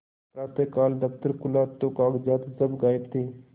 प्रातःकाल दफ्तर खुला तो कागजात सब गायब थे